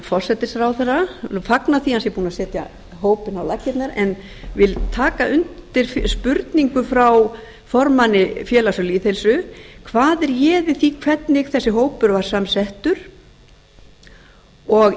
forsætisráðherra vil fagna því að hann er búinn að setja hópinn á laggirnar en vil taka undir spurningu frá formanni félags um lýðheilsu hvað réði því hvernig þessi hópur var samsettur og